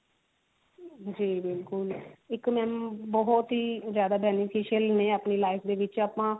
ਜੀ ਬਿਲਕੁਲ ਇੱਕ ਮੈਂ ਬਹੁਤ ਹੀ ਜਿਆਦਾ beneficial ਨੇ ਆਪਣੀ life ਦੇ ਵਿੱਚ ਆਪਾਂ